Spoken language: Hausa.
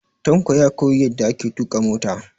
Tanko ya koyi yadda ake tuƙa mota.